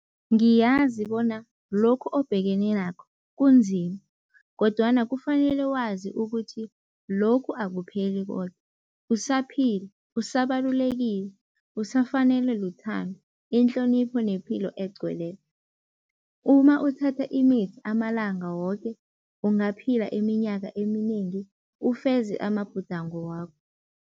Ngiyazi bona lokhu obhekene nakho kunzima kodwana kufanele wazi ukuthi lokhu akupheli koke. Usaphila, usabalulekile, usafanelwe luthando, inhlonipho nepilo egcweleko. Uma uthatha imithi amalanga woke, ungaphila iminyaka eminengi, ufeze amabhudango wakho.